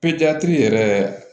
yɛrɛ